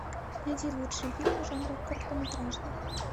найди лучшие фильмы жанра короткометражный